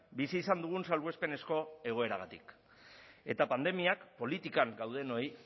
bizi izan dugun salbuespenezko egoeragatik eta pandemiak politikan gaudenoi